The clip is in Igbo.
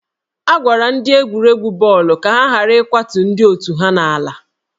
A gwara ndị egwuregwu bọọlụ ka ha ghara ịkwatu ndị otù ha n'ala